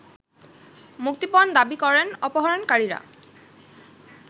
মুক্তিপণ দাবি করেন অপহরণকারীরা